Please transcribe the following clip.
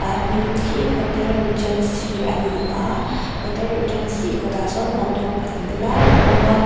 a hming hi hotel regency a ni a hotel regency kawtah sawn motor pahnih lai a awm a.